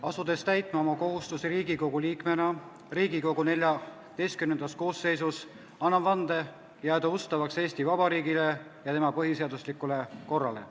Asudes täitma oma kohustusi Riigikogu liikmena Riigikogu XIV koosseisus, annan vande jääda ustavaks Eesti Vabariigile ja tema põhiseaduslikule korrale.